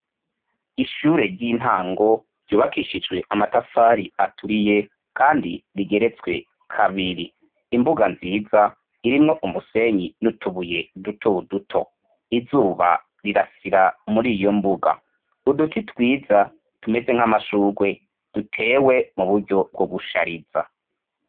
Ishure ry'intango ryubakishijwe amatafari aturiye kandi rigeretswe kabiri. Imbuga nziza, irimwo umusenyi n'utubuye duto duto. Izuba rirasira muri iyo mbuga. Uduti twiza tumeze nk'amashugwe, dutewe mu buryo bwo gushariza.